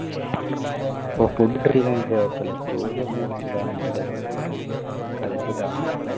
പ്പോ food കിട്ടിലെങ്കിലും എനിക്ക് കുഴപ്പമില്ല story ഒന്നും കിട്ടിയില്ലെങ്കി അന്ന് എൻ്റെ ഖൽബ് തകർന്നു പോകും